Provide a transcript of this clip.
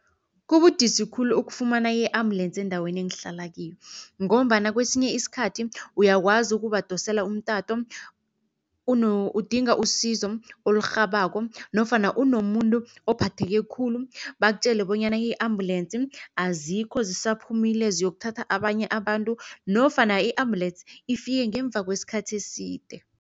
Kubudisi khulu ukufumana i-ambulensi endaweni engihlala kiyo ngombana kwesinye iskhathi uyakwazi ukubadosela umtato udinga isizo olirhabako nofana unomuntu ophetheko khulu. Bakutjele bonyana i-ambulensi azikho zisaphumile ziyokuthatha abanye abantu nofana i-ambulensi ifike ngemva kweskhathi eside.